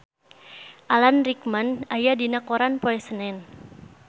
Alan Rickman aya dina koran poe Senen